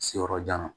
Siyɔrɔjan